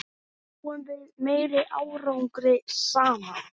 Náum við meiri árangri saman?